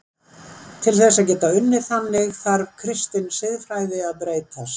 Til þess að geta unnið þannig þarf kristin siðfræði að breytast.